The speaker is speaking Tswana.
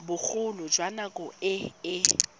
bogolo jwa nako e e